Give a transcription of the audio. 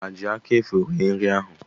Ha ji aka efu rie nri ahụ?